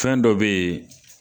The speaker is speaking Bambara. Fɛn dɔ be yen